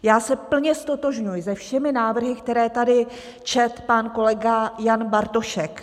Já se plně ztotožňuji se všemi návrhy, které tady četl pan kolega Jan Bartošek.